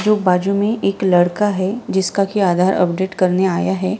जो बाजू मे एक लड़का है जिसका की आधार अपडेट करने आया है।